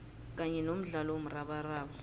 kanye nomdlalo womrabaraba